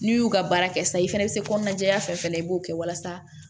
N'i y'u ka baara kɛ sisan i fɛnɛ be se kɔnɔna jɛya fɛn fɛn na i b'o kɛ walasa